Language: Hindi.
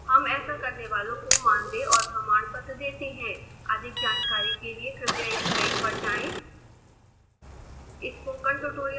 हम ऐसा करने वालों को मानदेय और प्रमाण पत्र देते हैं अधिक जानकारी के लिए कृपया इस साइट पर जाएं